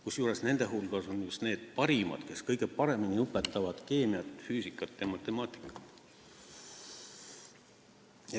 Kusjuures nende hulgas on just need parimad, kes kõige paremini õpetavad keemiat, füüsikat ja matemaatikat.